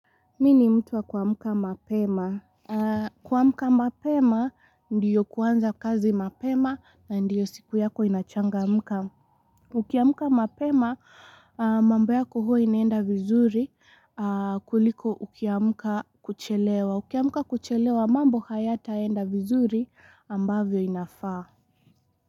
Mimi ni mtu wa kuamlka mapema. Kuamka mapema, ndil kuanza kazi mapema na ndio siku yako inachangamka. Ukiamka mapema, mambo yako huwa inaenda vizuri kuliko ukiamuka kuchelewa. Ukiamka kuchelewa, mambo hayataenda vizuri ambavyo inafaa.